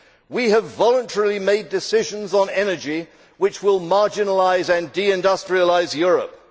We have voluntarily made decisions on energy which will marginalise and deindustrialise Europe.